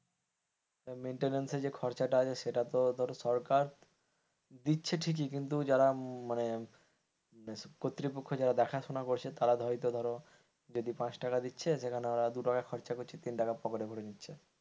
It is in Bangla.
maintance যে খরচাটা আছে সেটা তো ধরো সরকার দিচ্ছে ঠিকই কিন্তু যারা মানে কর্তৃপক্ষ যারা দেখাশোনা করছে তারা হয়তো ধরো যদি পাঁচ টাকা দিচ্ছে সেখানে তারা দু টাকা খরচ করছে, তিন টাকা পকেট এ ভরে নিছে।